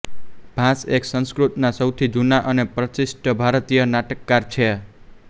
ભાસ એક સંસ્કૃત ના સૌથી જુના અને પ્રતિષ્ઠિત ભારતીય નાટકકાર છે